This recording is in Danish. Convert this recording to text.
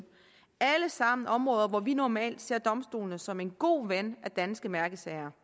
alle sammen områder hvor vi normalt ser domstolen som en god ven af danske mærkesager